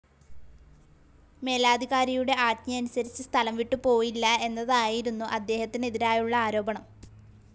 മേലധികാരിയുടെ ആജ്ഞയനുസരിച്ച് സ്ഥലം വിട്ടുപോയില്ല എന്നതായിരുന്നു അദ്ദേഹത്തിനെതിരായുള്ള ആരോപണം.